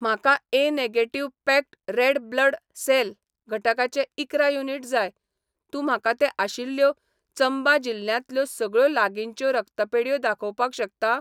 म्हाका A negative packed red blood cell घटकाचे इकरा युनिट जाय, तूं म्हाका तें आशिल्ल्यो चंबा जिल्ल्यांतल्यो सगळ्यो लागींच्यो रक्तपेढयो दाखोवपाक शकता?